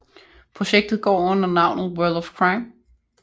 Projektet går under navnet World of Crime